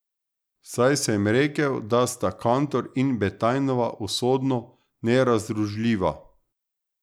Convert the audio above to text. Saj sem rekel, da sta Kantor in Betajnova usodno nerazdružljiva.